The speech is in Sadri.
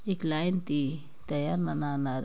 एक लाइन ती दया मना नर --